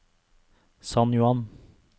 San Juan